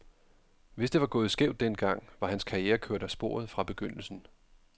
Hvis det var gået skævt den gang, var hans karriere kørt af sporet fra begyndelsen.